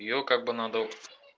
её как бы надо вот